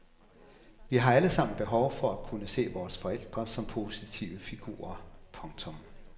Vi har alle sammen behov for at kunne se vores forældre som positive figurer. punktum